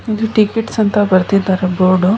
ಇದು ಟಿಕೆಟ್ಸ್ ಅಂತ ಬರೆದಿದ್ದಾರೆ ಬೋರ್ಡ್ .